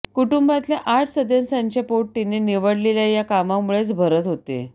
कुटूंबातल्या आठ सदस्यांचे पोट तिने निवडलेल्या या कामामुळेच भरत होते